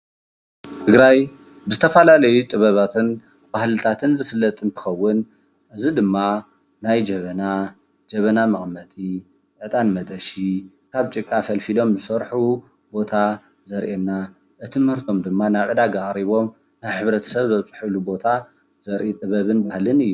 ትግራይ ብዝተፈላለዩ ጥበባትን ባህልታትን ዝፍለጥ እንትከውን እዚ ድማ ናይ ጀበና፣ ጀበና መቀመጢ፣ ዕጣን መጠሺ ካብ ጭቃ ፈልፊሎም ዘስርሕሉ ቦታ ዘርእየና እቲ ምህርቶም ድማ ናብ ዕዳጋ ኣቅሪቦም ናብ ሕብረተሰብ ዘብፅሕሉ ቦታ ዘርኢ ጥበብን ባህልን እዩ።